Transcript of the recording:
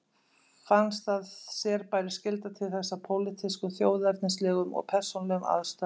Fannst að sér bæri skylda til þess af pólitískum, þjóðernislegum og persónulegum ástæðum.